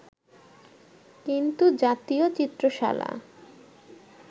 কিন্তু জাতীয় চিত্রশালা